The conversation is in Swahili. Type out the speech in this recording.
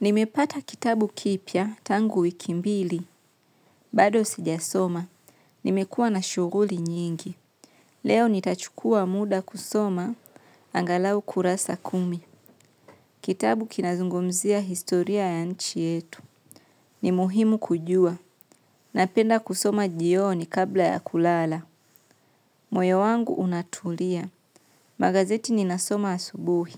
Nimepata kitabu kipya tangu wiki mbili, bado sijasoma. Nimekua na shuguli nyingi. Leo nitachukua muda kusoma, angalau kurasa kumi. Kitabu kinazungumzia historia ya nchi yetu. Ni muhimu kujua. Napenda kusoma jioni kabla ya kulala. Moyo wangu unatulia. Magazeti ninasoma asubuhi,